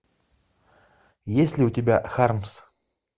есть ли у тебя хармс